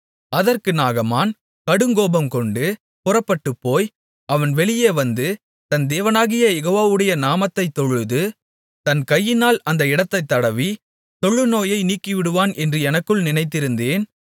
அதற்கு நாகமான் கடுங்கோபம்கொண்டு புறப்பட்டுப்போய் அவன் வெளியே வந்து தன் தேவனாகிய யெகோவாவுடைய நாமத்தைத் தொழுது தன் கையினால் அந்த இடத்தைத் தடவி தொழுநோயை நீக்கிவிடுவான் என்று எனக்குள் நினைத்திருந்தேன்